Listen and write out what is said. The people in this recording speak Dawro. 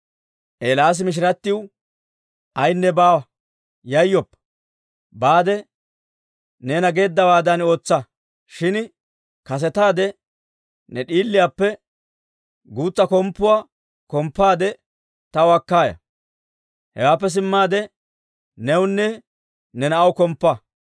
Eelaasi mishirattiw, «Ayenne baawa, yayyoppa; baade neena geeddawaadan ootsa. Shin kasetaade ne d'iliyaappe guutsa komppuwaa komppaade taw akka ya; hewaappe simmaade newunne ne na'aw komppa.